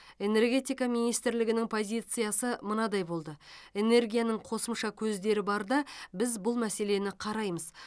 энергетика министрлігінің позициясы мынадай болды энергияның қосымша көздері барда біз бұл мәселені қараймыз